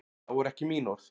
Það voru ekki mín orð.